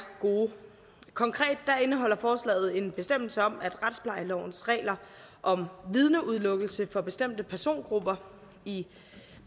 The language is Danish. gode konkret indeholder forslaget en bestemmelse om at retsplejelovens regler om vidneudelukkelse for bestemte persongrupper i